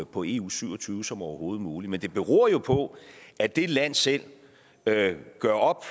på eu syv og tyve som overhovedet muligt men det beror jo på at det land selv gør op